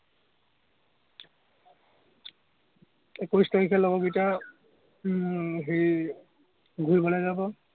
একৈশ তাৰিখে লগৰ উম হেৰি ঘুৰিবলে যাব।